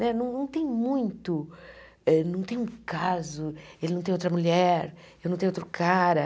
Né não não tem muito, não tem um caso, ele não tem outra mulher, eu não tenho outro cara.